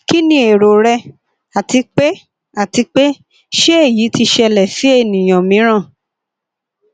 kini ero rẹ ati pe ati pe se eyi ti ṣẹlẹ si ẹniyan miiran